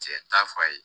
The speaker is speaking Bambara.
Cɛ t'a fɔ a ye